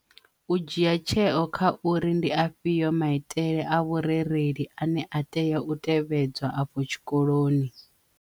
U dzhia tsheo kha uri ndi afhio maitele a vhurereli ane a tea u tevhedzwa afho tshikoloni.